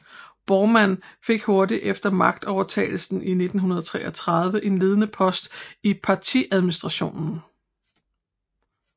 Bormann fik hurtigt efter magtovertagelsen i 1933 en ledende post i partiadministrationen